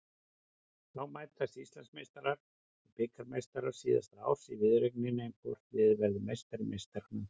Þá mætast Íslandsmeistarar og bikarmeistarar síðasta árs í viðureigninni um hvort liðið verður meistari meistaranna.